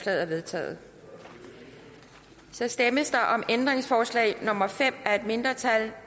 er vedtaget så stemmes der om ændringsforslag nummer fem af et mindretal